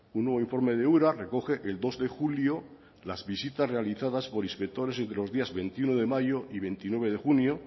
un nuevo informe de ura recoge que el dos de julio las visitas realizadas por inspectores entre los días veintiuno de mayo y veintinueve de junio